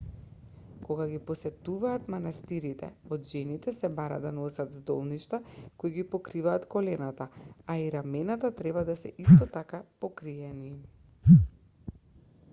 кога ги посетуваат манастирите од жените се бара да носат здолништа кои ги покриваат колената а и рамената треба да се исто така покриени